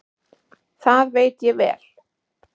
Það veit ég vel.